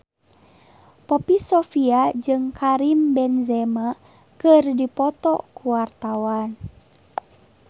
Poppy Sovia jeung Karim Benzema keur dipoto ku wartawan